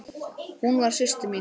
Hún var systir mín.